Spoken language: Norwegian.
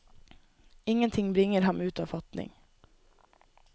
Ingenting bringer ham ut av fatning.